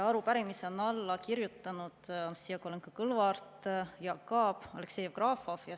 Arupärimisele on alla kirjutanud Anastassia Kovalenko‑Kõlvart, Jaak Aab ja Aleksei Jevgrafov.